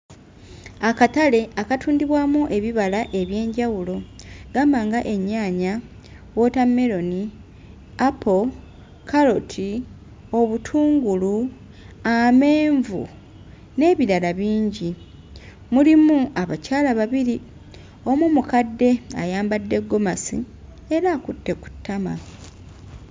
Akatale akatundibwamu ebibala eby'enjawulo gamba nga ennyaanya, wootammeroni, apo, kkaloti, obutungulu, amenvu n'ebirala bingi. Mulimu abakyala babiri omu mukadde ayambadde ggomasi era akutte ku ttama.